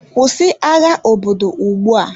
Kwụsị agha obodo ugbu a!